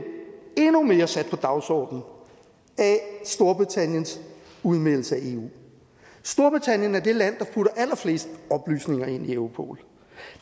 endnu mere sat på dagsordenen af storbritanniens udmeldelse af eu storbritannien er det land der putter allerflest oplysninger ind i europol